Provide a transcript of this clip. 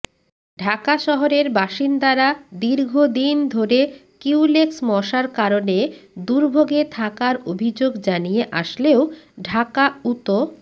ঢাকা শহরের বাসিন্দারা দীর্ঘদিন ধরে কিউলেক্স মশার কারণে দুর্ভোগে থাকার অভিযোগ জানিয়ে আসলেও ঢাকা উত